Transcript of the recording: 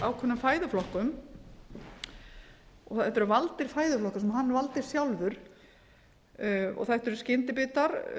völdum fæðuflokkum þetta eru valdir fæðuflokka sem hann valdi sjálfur þetta eru skyndibita